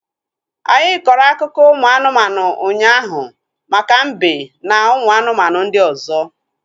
Anyị kọrọ akụkọ ụmụ anụmanụ ụnyaahụ maka mbe na ụmụ anụmanụ ndị ọzọ